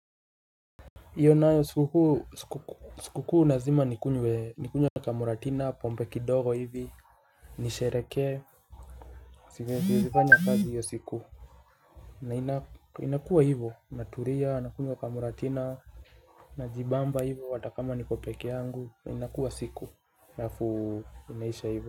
Iyo nayo siku kuu. Siku kuu nazima nikunywe kamuratina pompe kidogo hivi. Nishereke. Sifanya kazi hiyo siku. Na inakuwa hivo Naturia na kunywa kamuratina. Najibamba hivo watakama nikopeke yangu. Na inakuwa siku hafu inaisha hivo.